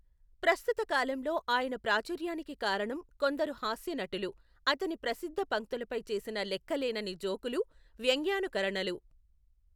ప్రస్తుత కాలంలో ఆయన ప్రాచుర్యానికి కారణం కొందరు హాస్య నటులు అతని ప్రసిద్ధ పంక్తులపై చేసిన లెక్కలేనన్ని జోకులు, వ్యంగ్యానుకరణలు.